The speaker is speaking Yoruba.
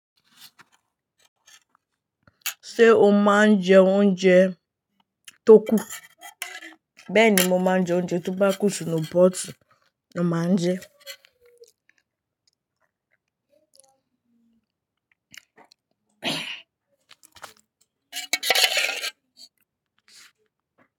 Ṣé o máa ń jẹ oúnjẹ tó kù? Bẹ́ẹ̀ ni mo máa ń jẹ oúnjẹ tóbá kú si inú pọ́ọ̀tù, mà n jẹ ẹ́.